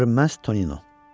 Görünməz Tonino.